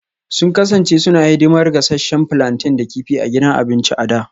Sun kasance suna hidimar gasasshen plantain da kifi a gidan abinci a da